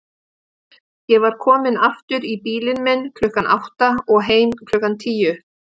Ég var kominn aftur í bílinn minn klukkan átta og heim klukkan tíu.